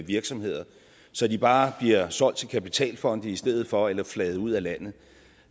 virksomheder så de bare bliver solgt til kapitalfonde i stedet for eller flaget ud af landet